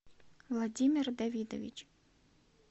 владимир давидович